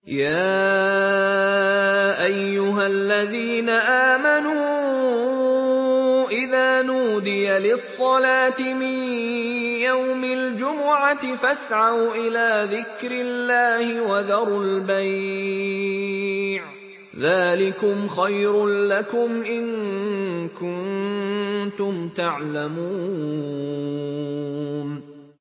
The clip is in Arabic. يَا أَيُّهَا الَّذِينَ آمَنُوا إِذَا نُودِيَ لِلصَّلَاةِ مِن يَوْمِ الْجُمُعَةِ فَاسْعَوْا إِلَىٰ ذِكْرِ اللَّهِ وَذَرُوا الْبَيْعَ ۚ ذَٰلِكُمْ خَيْرٌ لَّكُمْ إِن كُنتُمْ تَعْلَمُونَ